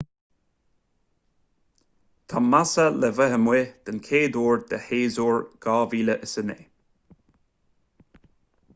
tá massa le bheith amuigh den chuid eile de shéasúr 2009